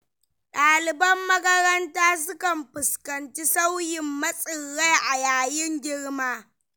Ɗaliban makaranta sukan fuskanci sauyin motsin rai a yayin girma.